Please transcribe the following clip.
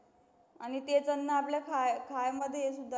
आणि ते